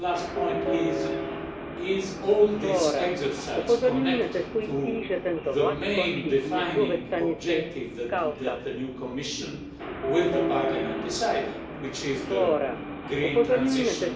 My last point is this is all this exercise connected to the main defining objective that the new Commission with the Parliament decided, which is the green transition?